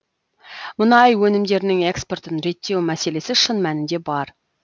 мұнай өнімдерінің экспортын реттеу мәселесі шын мәнінде бар